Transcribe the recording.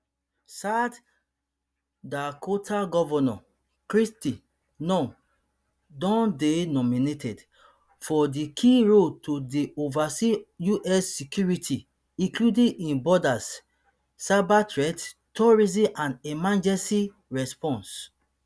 south dakota governor kristi noem don dey nominated for di key role to dey oversee us security including im borders cyberthreats terrorism and emergency response